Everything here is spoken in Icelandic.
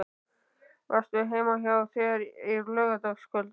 Varstu heima hjá þér á laugardagskvöldið?